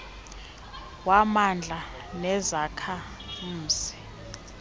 wamandla nezakha mzima